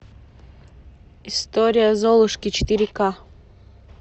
история золушки четыре ка